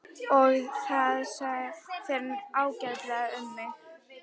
Og það fer ágætlega um mig.